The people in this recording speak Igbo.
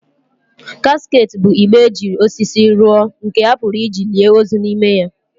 Casket bụ igbe e ji osisi rụọ nke a pụrụ iji lie ozu n'ime ya.